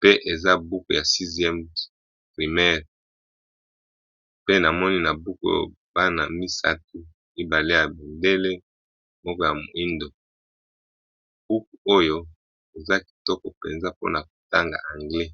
pe eza buku ya 6e me pe na moni na buku bana 3 mible ya bendele moko ya moindo hooke oyo eza kitoko mpenza mpona kotanga anglais